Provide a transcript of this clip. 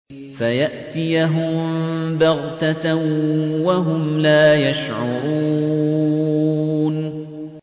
فَيَأْتِيَهُم بَغْتَةً وَهُمْ لَا يَشْعُرُونَ